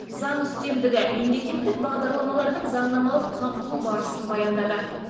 заң үстемдігі мемлекеттік бағдарламалардың заңнамалық қамтылу барысын баяндады